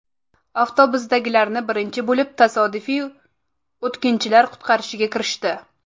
Avtobusdagilarni birinchi bo‘lib tasodifiy o‘tkinchilar qutqarishga kirishdi.